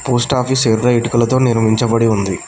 Post office ఎర్ర ఇటుకలతో నిర్మించబడి ఉంది.